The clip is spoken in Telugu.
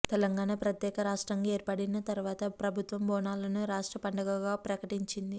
తెలంగాణ ప్రత్యేక రాష్ట్రంగా ఏర్పడిన తర్వాత ప్రభుత్వం బోనాలను రాష్ట్ర పండగగా ప్రకటించింది